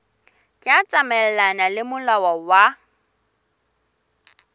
tla tsamaelana le molao wa